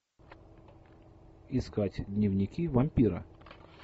искать дневники вампира